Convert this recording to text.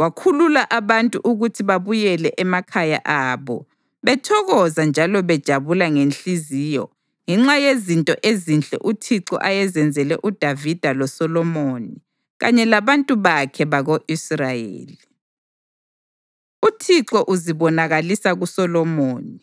wakhulula abantu ukuthi babuyele emakhaya abo bethokoza njalo bejabula ngenhliziyo ngenxa yezinto ezinhle uThixo ayezenzele uDavida loSolomoni kanye labantu bakhe bako-Israyeli. UThixo Uzibonakalisa KuSolomoni